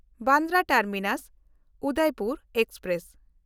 Bandra ᱴᱟᱨᱢᱤᱱᱟᱥ–ᱩᱫᱚᱭᱯᱩᱨ express